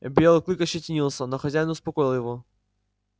белый клык ощетинился но хозяин успокоил его